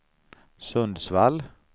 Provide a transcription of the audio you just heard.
Sundsvall